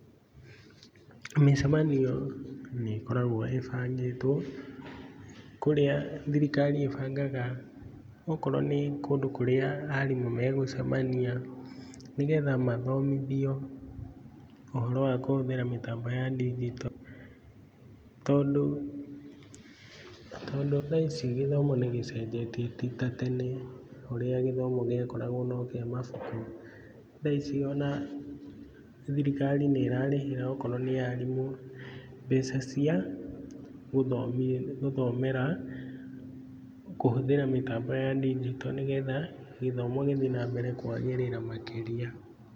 Mĩcemanio nĩ ĩkoragwo ĩbangĩtwo, kũrĩa thirikari ĩbangaga okorwo nĩ kũndũ kũrĩa arimũ megũcemania, nĩgetha mathomithio ũhoro wa kũhũthĩra mĩtambo ya ndinjito, tondũ tondũ thaici gĩthomo nĩ gĩcenjetie titatene, ũrĩa gĩthomo gĩakoragwo no kĩamabuku, thaici ona thirikari nĩ ĩrarihĩra okorwo nĩ arimũ, mbeca cia gũthomi gũthoma kũhũthĩra mĩtambo ya ndinjito nĩgetha gĩthomo gĩthiĩ na mbere kwagĩrĩra makĩria.